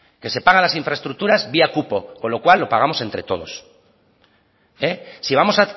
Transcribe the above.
que se pagan las infraestructuras vía cupo con lo cual lo pagamos entre todos si vamos